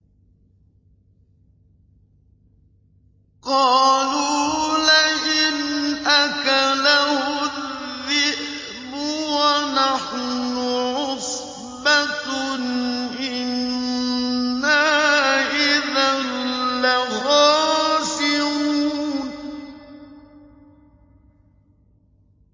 قَالُوا لَئِنْ أَكَلَهُ الذِّئْبُ وَنَحْنُ عُصْبَةٌ إِنَّا إِذًا لَّخَاسِرُونَ